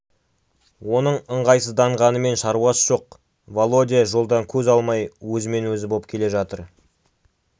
оның ыңғайсызданғанымен шаруасы жоқ володя жолдан көз алмай өзімен-өзі боп келе жатыр